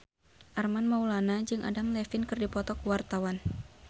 Armand Maulana jeung Adam Levine keur dipoto ku wartawan